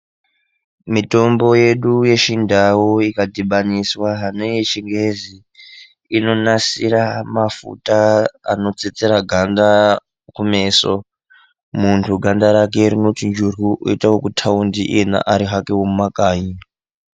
Mitombo yedu yechindau ikadhibaniswa neyechiyungu inonasira mafuta anotsetsera ganda kumeso muntu ganda rake rinochinjiruka, oita wekutaundi, arihake wemumakanyi.